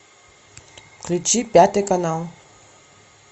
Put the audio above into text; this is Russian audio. включи пятый канал